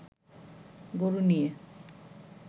গরু নিয়ে